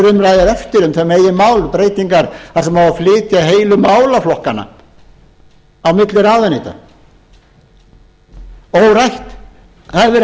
umræðu er eftir um þau meginmál breytingar þar sem á að flytja heilu málaflokkana á milli ráðuneyta órætt það hefur verið